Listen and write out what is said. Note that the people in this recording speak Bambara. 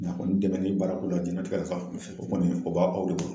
a kɔni dɛmɛ ni baara ko la jɛnatigɛ o kɔni o b'a aw de bolo.